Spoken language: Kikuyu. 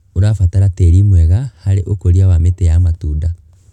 Ũrabatara tĩri mwega harĩ ũkũria wa mĩtĩ ya matunda.